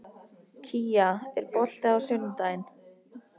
Kía, er bolti á sunnudaginn?